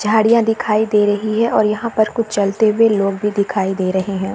झाड़िया दिखाई दे रही है और यहाँ पर कुछ चलते हुए लोग भी दिखाई दे रहे है।